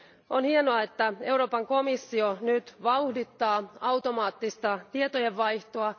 On hienoa, että Euroopan komissio nyt vauhdittaa automaattista tietojenvaihtoa.